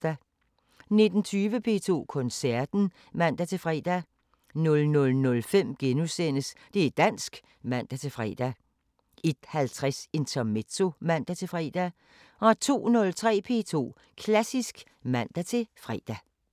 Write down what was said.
19:20: P2 Koncerten (man-fre) 00:05: Det´ dansk *(man-fre) 01:50: Intermezzo (man-fre) 02:03: P2 Klassisk (man-fre)